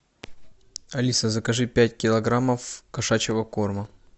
алиса закажи пять килограммов кошачьего корма